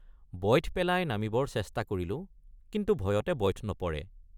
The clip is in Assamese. বইঠ পেলাই নামিবৰ চেষ্টা কৰিলোঁ কিন্তু ভয়তে বইঠ নপৰে।